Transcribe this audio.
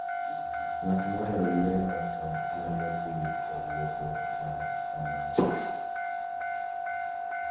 Ng'at mohero yueyo to nyalo dhi e wuodhe ma kamago.